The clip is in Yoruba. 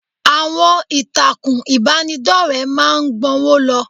Àwọn ìtàkùn ìbánidọ́rẹ̀ẹ́ máa ń gbọ́nwó lọ.